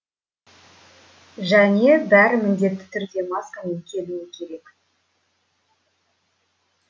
және бәрі міндетті түрде маскамен келуі керек